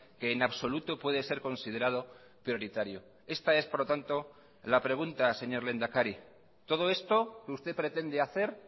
que en absoluto puede ser considerado prioritario esta es por lo tanto la pregunta señor lehendakari todo esto que usted pretende hacer